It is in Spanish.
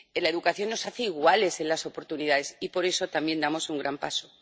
La educación nos hace iguales en las oportunidades, y por eso también damos un gran paso.